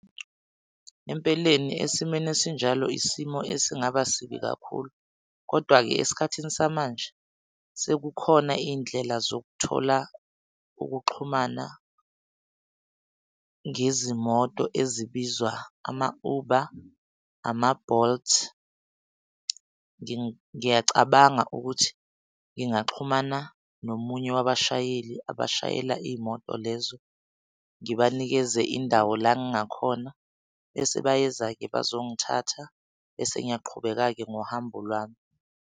Empeleni esimeni esinjalo, isimo esingaba sibi kakhulu, kodwa-ke esikhathini samanje sekukhona iy'ndlela zokuthola ukuxhumana ngezimoto ezibizwa ama-uber, ama-bolt. Ngiyacabanga ukuthi ngingaxhumana nomunye wabashayeli abashayela iy'moto lezo. Ngibanikeze indawo la engakhona, bese bayeza-ke bazongithatha bese ngiyaqhubeka-ke ngohambo lwami.